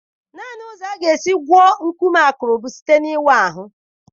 Naanị ụzọ a ga-esi gwọọ nkume akụrụ bụ site n'ịwa ahụ.